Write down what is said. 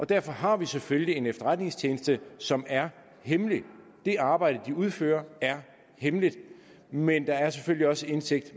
derfor har vi selvfølgelig en efterretningstjeneste som er hemmelig det arbejde de udfører er hemmeligt men der er selvfølgelig også indsigt